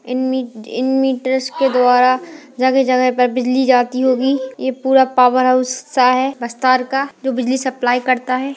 इन मि इन मिटर्स के द्वारा जगह जगह पर बिजली जाती होगी ये पुरा पॉवर हाउस सा हैं बस्तर का जो बिजली सप्लाई करता हैं।